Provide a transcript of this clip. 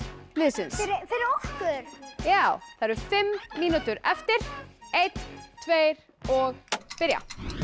liðsins fyrir okkur já það eru fimm mínútur eftir einn tveir og byrja